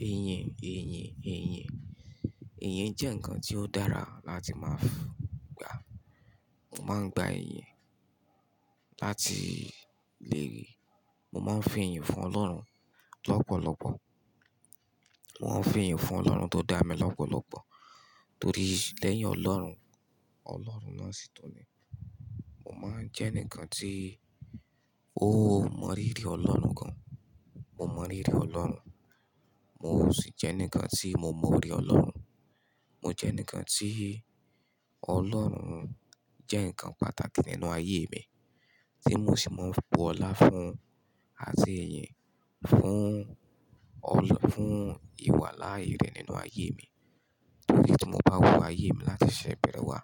Iyin, iyin, iyin. Iyin jẹ́ ǹkan tí ó dára láti máa fún ga. Mo máa ń gba iyin láti lè Mo máa ń fi eyin fún Ọlọ́run lọ́pọ̀lọpọ̀. Mo máa ń fi iyin fún Ọlọ́run tó dá mi lọ́pọ̀lọpọ̀. Torí lẹ́yìn Ọlọ́run, Ọlọ́run náà sì tún ni. Mo máa ń jẹ́ enikan tí ó mọrí rí Ọlọ́run gan. Mo mọrí rí Ọlọ́run. Mo sì jẹ́ enkan tí mo morí Ọlọ́run. Mo jẹ́ eni kan tí Ọlọ́run jẹ́ ǹkan pàtàkì nínú ayé mi, tí mo sì máa ń bu ọlá fún, àti iyin fún ọlọ́, fún ìwà láàyè rẹ̀ nínú ayé mi. Torí tí mo bá wo ayé mi láti ṣẹ̀ bẹ́rẹ́ wá,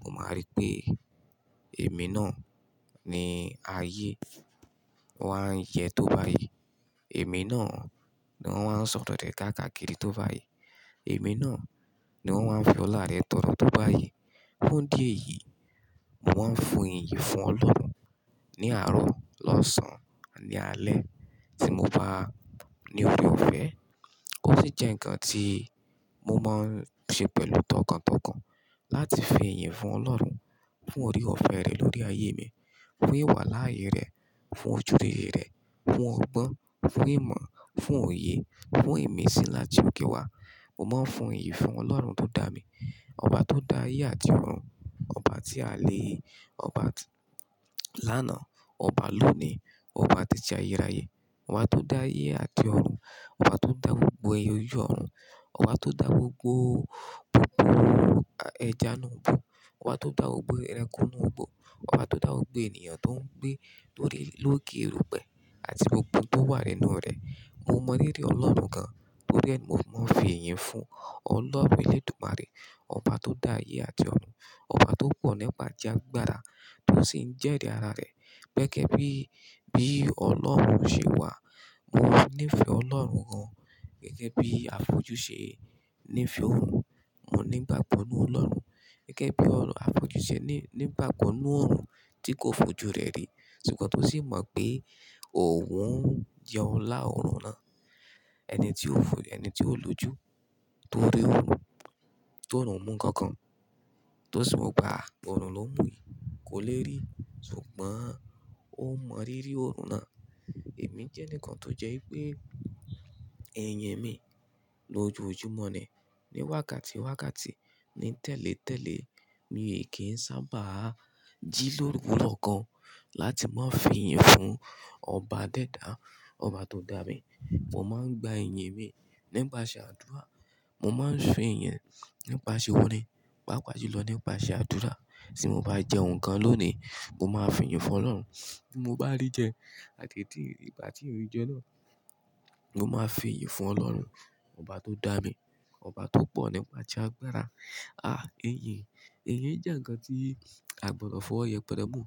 mo máa rí pé èmi náà ni ayé wá ń yẹ tó báyìí. Èmi náà ni wọ́n wań sọ̀tọ̀tẹ̀ káàkakiri tó báyìí. Èmi náà ni wọ́n wan fi ọlá rẹ̀ tọ̀nà tó báyìí. Fún idí ẹ̀yìí, mo máa ń fun iyin fún Ọlọ́run ní àárọ̀, lọ́sàn, aaní alẹ́. Tí mo bá ní ore ọ̀fẹ́, ó sì jẹ́ ǹkan tí mo máa ń ṣe pẹ̀lú tọkàntọkàn láti fi iyin fún Ọlọ́run, fún ore ọ̀fẹ́ rẹ̀ lórí ayé mi, fún ìwà láàyè rẹ̀, fún ojúùre rẹ̀, fún ọgbọ́n, fún ìmọ̀, fún òye, fún ìmísí láti òkè wá. Mo máa ń fun iyin fún Ọlọ́run tó dá mi, ọba tó dá ayé àti ọ̀run, ọba tí à lè, ọba tí lánàá, ọba lónìí, ọba títí ayérayé, ọba tó dá ayé àti ọ̀run, ọba tó dá gbogbo ẹyọ yọ ọ̀run, ọba tó dá gbogbo, gbogbo ẹja nù òbò, ọba tó dá ogbó ẹranko nù gbò, ọba tó dá gbogbo ènìyàn tó ń gbé lórí lókè òrùpẹ́ àti gbogbo tó wà nínú rẹ̀. Mo mọ rírí Ọlọ́run gan, torí ẹni mó mọ fi iyin fún Ọlọ́run eledùmarè, ọba tó dá ayé àti ọ̀run, ọba tó pọ̀ nípa já gbára, tó sì ń jẹ́ ri ara rẹ̀. Gẹ́gẹ́ bí, bí Ọlọ́run ṣe wà, mo ní ìfẹ́ Ọlọ́run gan. Gẹ́gẹ́ bí àfojú ṣe ní ìfẹ́ òòrùn, mo ní ìgbagbo nu Ọlọ́run. Gẹ́gẹ́ bí òòrùn, àfojú ṣe ní, ní bákonú òòrùn tí kò fojú rẹ̀ rí. Ṣùgbọ́n tó sì mọ̀ pé òun jẹ́ Ọlá òòrùn náà. Ẹni tí ó fo, ẹni tí ó lójú tó rí òòrùn, tó run mú nǹkan kan, tó sì mọ̀ pa òòrùn ló ń mú yì, kò lè rí. Ṣùgbọ́n ó mọ rirí òòrùn náà. Èmi jẹ́ enikan tó jẹ́ ipé iyín mi lójoojúmọ́ ni, ní wákàtíwákàtí, ní tẹ́lẹ̀tẹ́lẹ̀, mi kì sábà jí lóru òkan láti máa fi iyin fún ọba dẹ́dà, ọba tó dá mi. Mo máa ń gba iyín mi nípasẹ̀ àdúrà. Mo máa ń fi iyín nípasẹ̀ orin, pàápàá jùlọ nípasẹ̀ àdúrà. Tí mo bá jẹ́ ǹkan lónìí, mo máa fi iyin fún Ọlọ́run. Tí mo bá rí jẹ, àti tí ìgbà tí èmi jẹ́ náà, mo máa n fi iyin fún Ọlọ́run, ọba tó dá mi, ọba tó pọ̀ nípa já gbára. Ah, iyin. Iyin jẹ́ ǹkan tí a gbọdọ̀ fọwọ́ yẹpẹrẹ mú.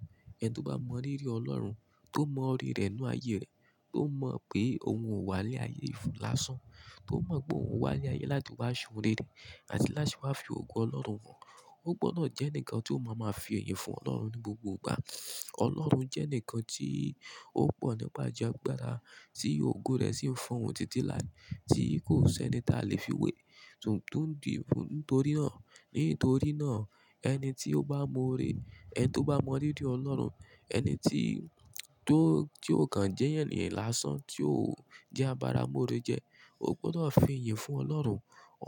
Ẹni tó bá mọ rírí Ọlọ́run, tó mọ ore rẹ̀ nínú ayé rẹ̀, tó mọ̀ pé òun o wà le aye fun lásán, tó mọ̀ pé òun wà láyé láti wá ṣún rere àti láti wá fi ògo Ọlọ́run hàn, ó gbọdọ̀ jẹ́ eǹikan tí ó máa ma fi iyin fún Ọlọ́run ní gbogbo gbà. Ọlọ́run jẹ́ eǹikan tí ó pọ̀ nípa já gbára, tí ògo rẹ̀ sì ń fọ̀un títí láé, tí kò sì ẹni tí a lè fi wé. Tuntun dì fún nítorí náà. Nítorí náà ẹni tí ó bá mọ̀ ore, ẹni tí ó bá mọ rírí Ọlọ́run, ẹni tí, tó, tí o kan jẹ́ èyàn lásán tí ó jẹ́ abara móore jẹ, ó gbọdọ̀ fi iyin fún Ọlọ́run.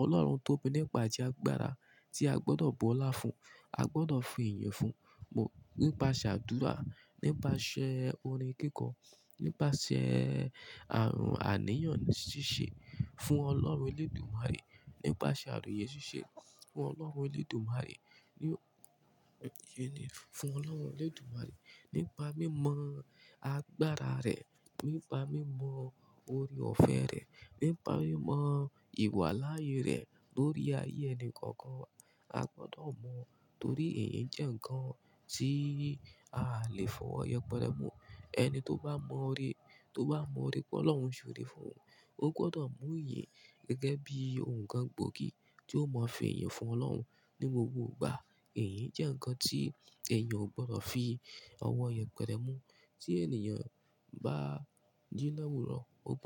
Ọlọ́run tóbi nípa já gbára tí a gbọdọ̀ bu ọlá fún, a gbọdọ̀ fi iyin fún. Nípa sàdúrà, nípasẹ̀ orin kíkọ, nípasẹ̀ ààrùn àníyàn ṣíṣe fún Ọlọ́run eledùmarè, nípasẹ̀ àròyé ṣíṣe fún Ọlọ́run eledùmarè, ní, iyin ni fún Ọlọ́run eledùmarè. Nípa mímọ̀ agbára rẹ̀, nípa mímọ̀ ore ọ̀fẹ́ rẹ̀, nípa mímọ̀ ìwà láàyè rẹ̀ lórí ayé ẹni kọ̀ọ̀kan. A gbọdọ̀ mọ̀ torí iyin jẹ́ ǹkan tí a lè fọwọ́ yẹpẹrẹ mú. Ẹni tó bá mọ̀ ore, tó bá mọ̀ ore pé Ọlọ́run ṣòre fún, ó gbọdọ̀ mú iyin gẹ́gẹ́ bí ǹkan gbòógì tó máa fi iyin fún Ọlọ́run ní gbogbo gbà. Iyin jẹ́ ǹkan tí èèyàn ò gbọdọ̀ fi ọwọ́ yẹpẹrẹ mú. Tí ènìyàn bá jí láwùró, ó gb-